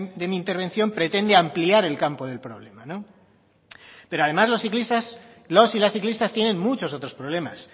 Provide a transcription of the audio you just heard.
de mi intervención pretende ampliar el campo del problema pero además los ciclistas los y las ciclistas tienen muchos otros problemas